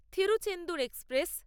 Tiruchendur express